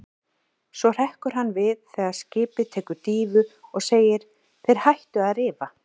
Svo hrekkur hann við þegar skipið tekur dýfu og segir: Þeir ættu að rifa.